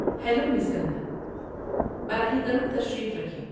Hello, Miss Kangana! براہ کرم تشریف رکھیں۔